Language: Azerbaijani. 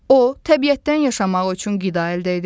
O, təbiətdən yaşamaq üçün qida əldə edir.